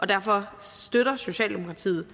derfor støtter socialdemokratiet